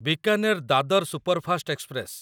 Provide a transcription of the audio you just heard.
Bikaner Dadar superfast express